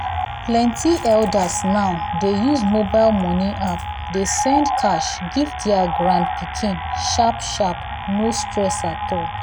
plenty elders now dey use mobile money app dey send cash give their grandpikin sharp-sharp — no stress at all.